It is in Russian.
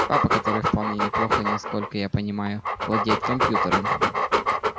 папа который вполне неплохо не сколько я понимаю владеет компьютером